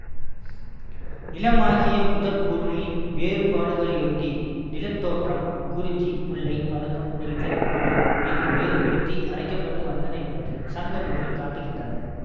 நிலமாகிய முதற்பொருளின் வேறுபாடுகளையொட்டி நிலத்தோற்றம் குறிஞ்சி முல்லை மருதம் நெய்தல் பாலை என்று வேறுபடுத்தி அழைக்க பட்டு வந்தன என்பதை சங்க நூல்கள் காட்டுகின்றன